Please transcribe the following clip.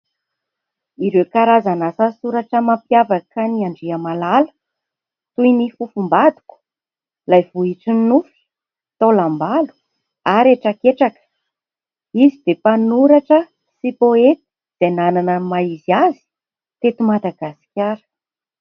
Ireo karazana asa soratra mampiavaka an'Andriamalala. Toy ny fofombadiko, ilay vohitry ny nofy, taolambalo ary hetraketraka ; izy dia mpanoratra sy poeta izay nanana ny maha izy azy teto Madagasikara.